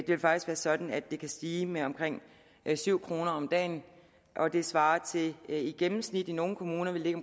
vil faktisk være sådan at det kan stige med omkring syv kroner om dagen og det svarer til det i gennemsnit i nogle kommuner vil ligge